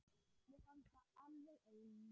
Mér fannst þið alveg eins.